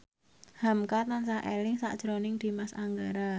hamka tansah eling sakjroning Dimas Anggara